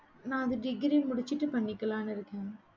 நான் அது degree முடிச்சிட்டு பண்ணிக்கலான்னு இருக்கேன்